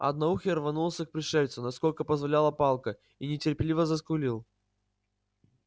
одноухий рванулся к пришельцу насколько позволяла палка и нетерпеливо заскулил